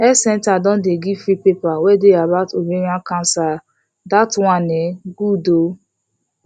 health centre don dey give free paper wey dey about ovarian cancer that um one good ooo